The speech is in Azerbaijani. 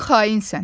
Sən xainsən.